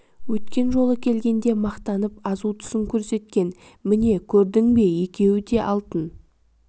өткен жолы келгенде мақтанып азу тісін көрсеткен міне көрдің бе екеуі де алтын